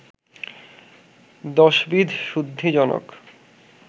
দশবিধ শুদ্ধিজনক